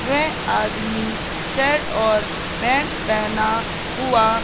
वह आदमी शर्ट और पैंट पहना हुआ--